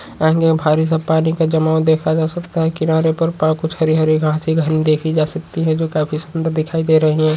ये बाहरी सा पानी का जमाव देखा जा सकता है किनारे पर पा कुछ हरी हरी घाँसे घनी देखी जा सकती है जो काफी सुंदर दिखाई दे रहीं हैं।